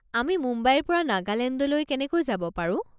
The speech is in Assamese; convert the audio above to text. আমি মুম্বাইৰ পৰা নাগালেণ্ডলৈ কেনেকৈ যাব পাৰো?